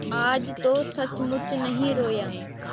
आज तो सचमुच नहीं रोया